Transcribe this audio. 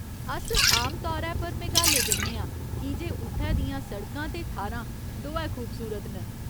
अस आमतौरै पर मेघालय जन्ने आं कीजे उत्थै दियां सड़कां ते थाह्‌रां दोऐ खूबसूरत न।